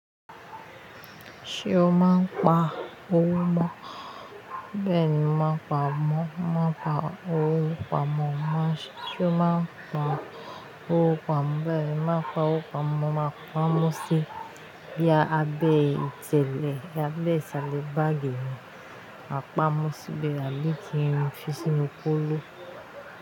Ṣé o máa ń pa owó mọ́? Bẹ́ẹ̀ni, mo máa ń pa owó pa mọ́. Ṣé o máa ń pa owó pa mọ́? Bẹ́ẹ̀ni, mo máa pa owó pa mọ́. Máa pamọ́ sí abẹ́ ìtẹ̀lẹ̀ abẹ́ ìṣàlẹ̀ báàgì mi. Màá pamọ́ síbẹ̀ àbí kí n fi sí inú kóló.